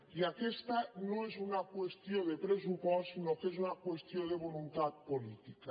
i aquesta no és una qüestió de pressupost sinó que és una qüestió de voluntat política